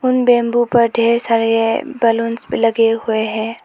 उन बैंबू पर ढेर सारे ये बलूंस भी लगे हुए है।